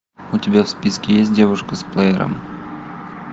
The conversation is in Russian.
у тебя в списке есть девушка с плеером